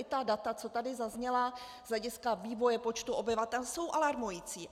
I ta data, co tady zazněla z hlediska vývoje počtu obyvatel, jsou alarmující.